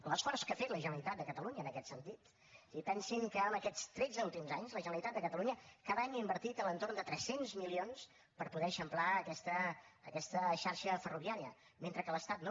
l’esforç que ha fet la generalitat de catalunya en aquest sentit i pensin que en aquests tretze últims anys la generalitat de catalunya cada any ha invertit a l’entorn de tres cents milions per poder eixamplar aquesta xarxa ferroviària mentre que l’estat no